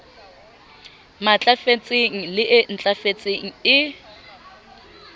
matlafetseng le e ntlafetseng e